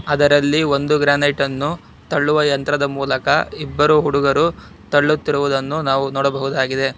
ಅದರಲ್ಲಿ ಒಂದು granite ಅನ್ನು ತಳ್ಳುವ ಯಂತ್ರದ ಮೂಲಕ ಇಬ್ಬರು ಹುಡುಗರು ತಳ್ಳುತ್ತಿರುವುದನ್ನು ನಾವು ನೋಡಬಹುದಾಗಿದೆ.